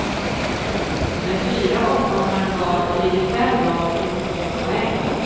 Med fyra omgångar kvar ligger fem lag inom två poäng.